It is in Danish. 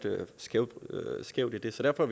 skævt skævt i så derfor